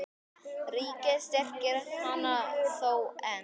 Ríkið styrkir hana þó enn.